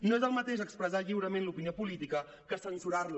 no és el mateix expressar lliurement l’opinió política que censurar la